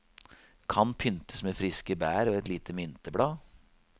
Kan pyntes med friske bær og et lite mynteblad.